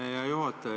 Hea juhataja!